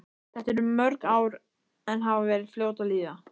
Þetta eru mörg ár en hafa verið fljót að líða.